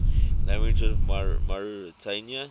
languages of mauritania